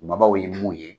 Babaw ye mun ye